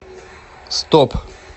стоп